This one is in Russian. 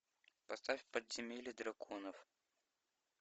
поставь подземелье драконов